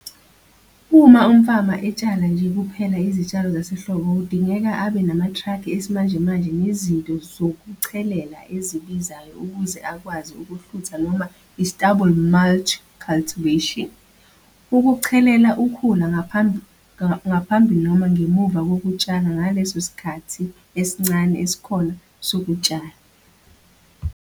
Uma umfama etshala nje kuphela izitshalo zasehlobo kudingeka abe namatraki esimanjemanje nezinto zokuchelelela ezibizayo ukuze akwazi ukuhlutha noma istubble mulch cultivation, ukuchelela ukhula ngaphambi noma ngemuva kokutshala ngaleso sikhathi esincane esikhona sokutshala.